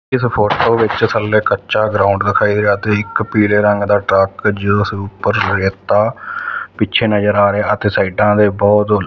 ਇੱਸ ਫ਼ੋਟੋ ਵਿੱਚ ਥੱਲੇ ਕੱਚਾ ਗਰਾਊਂਡ ਵਿਖਾਈ ਦੇ ਰਿਹਾ ਤੇ ਇੱਕ ਪੀਲੇ ਰੰਗ ਦਾ ਟਰੱਕ ਜਿੱਸ ਊਪਰ ਰੇਤਾ ਪਿੱਛੇ ਨਜ਼ਰ ਆ ਰਿਹਾ ਤੇ ਸਾਈਡਾਂ ਤੇ ਬੋਹੁਤ--